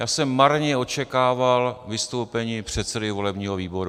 Já jsem marně očekával vystoupení předsedy volebního výboru.